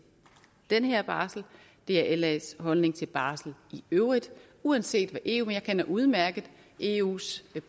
den her barsel det er las holdning til barsel i øvrigt uanset hvad eu mener jeg kender udmærket eus